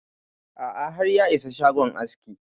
A'a har ya isa shagon askin